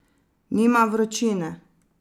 Nima vročine.